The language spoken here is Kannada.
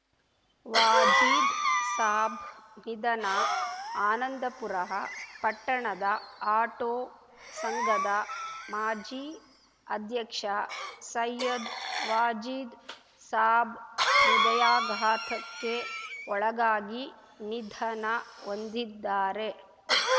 ವಾಜೀದ್‌ ಸಾಬ್‌ ನಿಧನ ಆನಂದಪುರ ಪಟ್ಟಣದ ಆಟೋ ಸಂಘದ ಮಾಜಿ ಅಧ್ಯಕ್ಷ ಸಯ್ಯದ್‌ ವಾಜೀದ್‌ ಸಾಬ್‌ ಹೃದಯಾಘಾತಕ್ಕೆ ಒಳಗಾಗಿ ನಿಧನ ಹೊಂದಿದ್ದಾರೆ